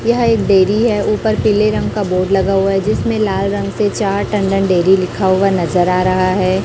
यह एक डेरी है ऊपर पीले रंग का बोर्ड लगा हुआ है जिसमें लाल रंग से चार टंडन डेरी लिखा हुआ नजर आ रहा है।